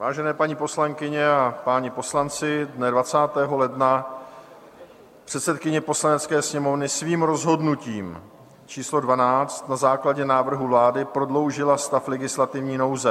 Vážené paní poslankyně a páni poslanci, dne 20. ledna předsedkyně Poslanecké sněmovny svým rozhodnutím číslo 12 na základě návrhu vlády prodloužila stav legislativní nouze.